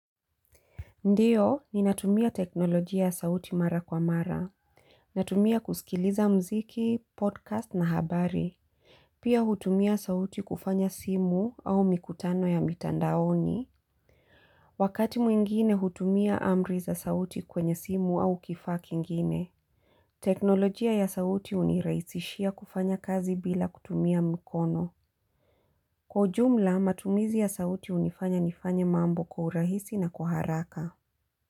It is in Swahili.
Ndiyo ninatumia teknolojia ya sauti mara kwa mara. Natumia kusikiliza mziki, podcast na habari. Pia hutumia sauti kufanya simu au mikutano ya mitandaoni. Wakati mwingine hutumia amri za sauti kwenye simu au kifaa kingine. Teknolojia ya sauti hunirahisishia kufanya kazi bila kutumia mkono. Kwa ujumla matumizi ya sauti hunifanya nifanya mambo kwa urahisi na kwa haraka.